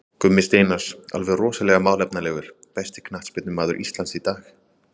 Gummi Steinars, alveg rosalega málefnalegur Besti knattspyrnumaður Íslands í dag?